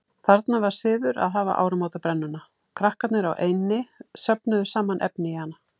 Þarna var siður að hafa áramótabrennuna, krakkarnir á eynni söfnuðu saman efni í hana.